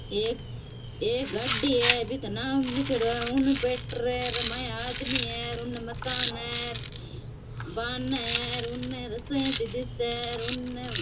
ये एक गाड़ी है बी को नाम लिखेड़ो है उन पेंटर आदमी है और उने मकान है बारणा है और उने रसोइयां सी दिखे है और उने --